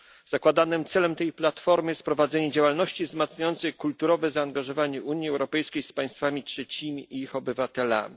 Zakładanym celem tej platformy jest prowadzenie działalności wzmacniającej kulturowe zaangażowanie Unii Europejskiej z państwami trzecimi i ich obywatelami.